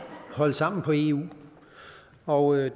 holde sammen på eu og jeg